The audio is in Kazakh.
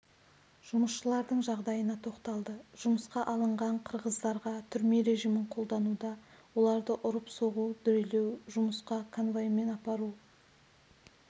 жұмысшылардың жағдайына тоқталды жұмысқа алынған қырғыздарға түрме режимін қолдануда оларды ұрып-соғу дүрелеу жұмысқа конвоймен апару